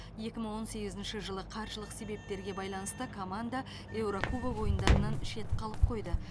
екі мың он сегізінші жылы қаржылық себептерге байланысты команда еурокубок ойындарынан шет қалып қойды